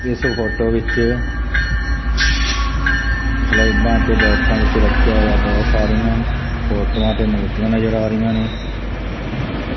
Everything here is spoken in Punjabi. ਇਸ ਫੋਟੋ ਵਿੱਚ ਸਲੈਬਾਂ ਤੇ ਬੋਕਸਾਂ ਵਿੱਚ ਰੱਖਿਆ ਹੋਇਆ ਬਹੁਤ ਸਾਰੀਆਂ ਫੋਟੋਆਂ ਤੇ ਮੂਰਤੀਆਂ ਨਜ਼ਰ ਆ ਰਹੀਆਂ ਨੇ।